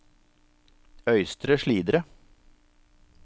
Øystre Slidre